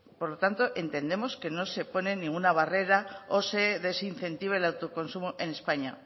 por lo tanto entendemos que no se ponen ninguna barrera o se desincentive el autoconsumo en españa